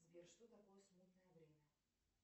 сбер что такое смутное время